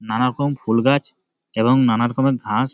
নানারকম ফুল গাছ এবং নানারকম ঘাস--